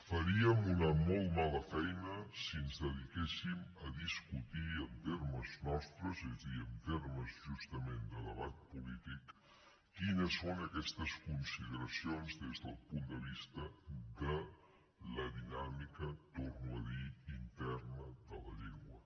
faríem una molt mala feina si ens dediqués sim a discutir en termes nostres és a dir en termes justament de debat polític quines són aquestes consideracions des del punt de vista de la dinàmica ho torno a dir interna de la llengua